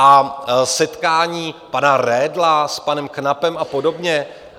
A setkání pana Redla s panem Knapem a podobně?